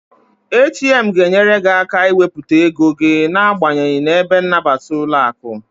ATM ga enyere gị aka ị wepụta ego gị na abanyeghi n'ebe nnabata ụlọaku